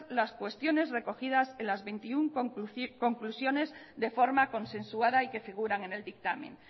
las cuestiones recogidas en las veintiuno conclusiones de forma consensuada y que figuran en el dictamen